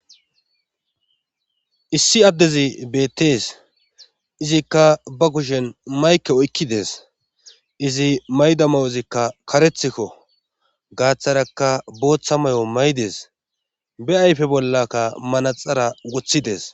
issi addezi beettees izikka ba kushen mayke oykkides izi mayda ma7ozikka karethikko gaaththarakka booththa may7o maydes be ayfe bollakka manaxara wothidees